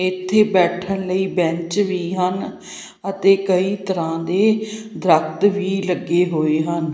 ਇਥੇ ਬੈਠਣ ਲਈ ਬੈਂਚ ਵੀ ਹਨ ਅਤੇ ਕਈ ਤਰ੍ਹਾਂ ਦੇ ਦਰਖ਼ਤ ਵੀ ਲੱਗੇ ਹੋਏ ਹਨ।